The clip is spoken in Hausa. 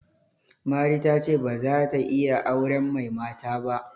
Mari ta ce ba za ta iya auren mai mata ba.